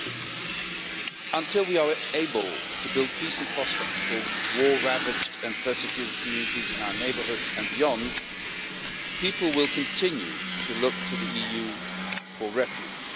Mr President, until we are able to build peace and prospects for war ravaged and persecuted communities in our neighbourhood and beyond, people will continue to look to the EU for refuge.